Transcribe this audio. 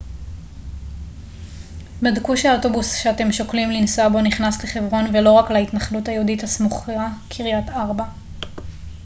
בדקו שהאוטובוס שאתם שוקלים לנסוע בו נכנס לחברון ולא רק להתנחלות היהודית הסמוכה קריית ארבע